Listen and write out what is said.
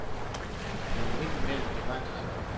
Man må ind imellem begrænse sig.